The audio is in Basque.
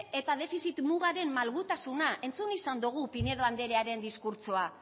eta defizit mugaren malgutasuna entzun izan dogu pinedo andrearen diskurtsoa